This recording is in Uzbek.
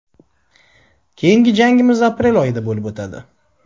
Keyingi jangimiz aprel oyida bo‘lib o‘tadi.